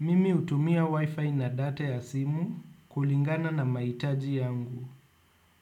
Mimi utumia wifi na data ya simu kulingana na maitaji yangu.